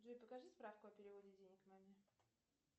джой покажи справку о переводе денег маме